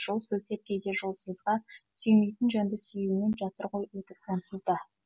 жол сілтеп кейде жолсызға сүймейтін жанды сүюмен жатыр ғой өтіп онсыз да